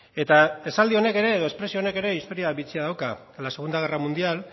eta esaldi honek ere edo espresio honek ere historia bitxia dauka en la segunda guerra mundial